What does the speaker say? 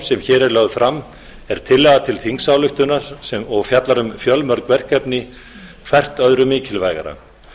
sem hér er lögð fram er tillaga til þingsályktunar og fjallar um fjölmörg verkefni hvert öðru mikilvægara